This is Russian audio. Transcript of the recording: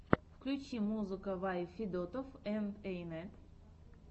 включи музыка вай федотов энд эй нэт